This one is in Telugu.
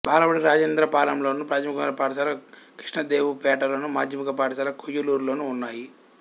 బాలబడి రాజేంద్రపాలెంలోను ప్రాథమికోన్నత పాఠశాల కృష్ణదేవుపేటలోను మాధ్యమిక పాఠశాల కొయ్యూరులోనూ ఉన్నాయి